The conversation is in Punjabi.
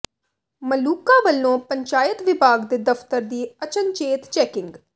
ਮਲੂਕਾ ਵੱਲੋਂ ਪੰਚਾਇਤ ਵਿਭਾਗ ਦੇ ਦਫ਼ਤਰ ਦੀ ਅਚਨਚੇਤ ਚੈਕਿੰਗ